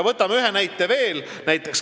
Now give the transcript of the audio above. Võtame ühe näite veel.